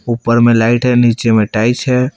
ऊपर में लाइट है नीचे में टाइस है।